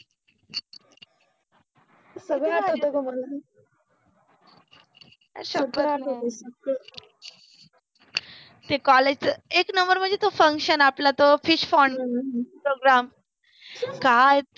सगळ आठवतो ग मला सगळ आठवतो, सगळ, एक नम्बरमन जे तो फंक्शन आपला तो फ्रिशपोंड प्रोग्राम